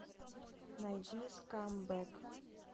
найди скамбэг